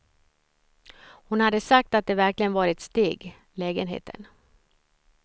Hon hade sagt att det verkligen var ett steg, lägenheten.